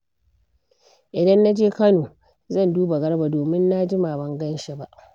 Idan na je Kano, zan duba Garba domin na jima ban gan shi ba.